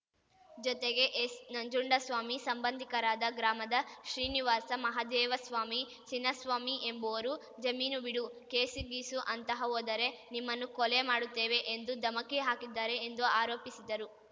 ಜೊತೆಗೆ ಎಸ್‌ನಂಜುಂಡಸ್ವಾಮಿ ಸಂಬಂಧಿಕರಾದ ಗ್ರಾಮದ ಶ್ರೀನಿವಾಸ ಮಹದೇವಸ್ವಾಮಿ ಚಿನ್ನಸ್ವಾಮಿ ಎಂಬುವರು ಜಮೀನು ಬಿಡು ಕೇಸುಗೀಸು ಅಂತಹ ಹೋದರೆ ನಿಮ್ಮನ್ನು ಕೊಲೆ ಮಾಡುತ್ತೇವೆ ಎಂದು ಧಮಕಿ ಹಾಕಿದ್ದಾರೆ ಎಂದು ಆರೋಪಿಸಿದರು